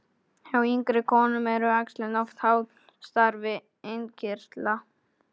Hjá yngri konum eru æxlin oft háð starfi innkirtla.